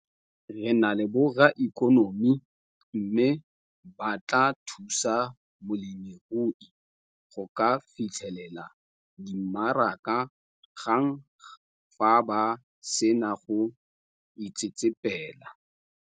"Re na le borraikonomi mme ba tla thusa molemirui go ka fitlhelela dimaraka gang fa ba sena go itsetsepela."